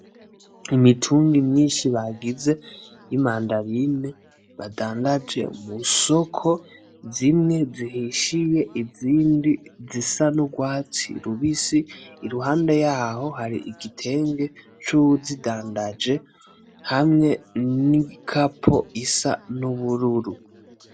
Imitumbi myinshi bagize y'imandarine badandaje mu soko zimwe zihishije izindi zisa n'urwatsi rubisi. Iruhande yaho hari igitenge c'uwuzidandaje hamwe n'igikapo gisa n'ubururu.